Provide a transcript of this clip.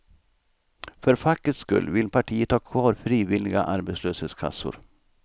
För fackets skull vill partiet ha kvar frivilliga arbetslöshetskassor.